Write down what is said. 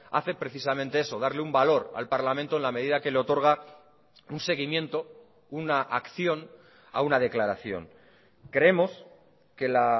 hace precisamente eso darle un valor al parlamento en la medida que le otorga un seguimiento una acción a una declaración creemos que la